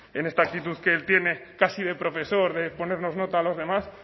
en esta actitud que él tiene casi de profesor de ponernos nota a los demás